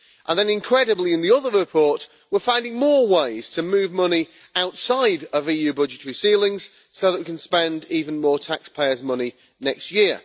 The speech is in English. And then, incredibly, in the other report we are finding more ways to move money outside of EU budgetary ceilings so that we can spend even more taxpayers' money next year.